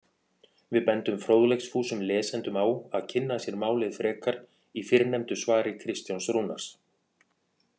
Við bendum fróðleiksfúsum lesendum á að kynna sér málið frekar í fyrrnefndu svari Kristjáns Rúnars.